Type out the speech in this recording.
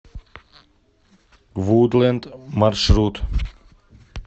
вудлэнд маршрут